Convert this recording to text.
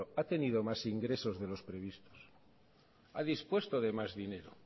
ha tenido más ingresos de los previstos ha dispuesto de más dinero